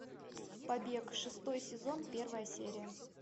побег шестой сезон первая серия